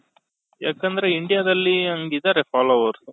ಯಾಕಂದ್ರೆ India ದಲ್ಲಿ ಹಂಗಿದಾರೆ followers